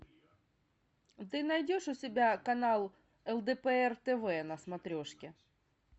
ты найдешь у себя канал лдпр тв на смотрешке